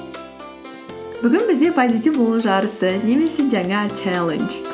бүгін бізде позитив болу жарысы немесе жаңа чаллендж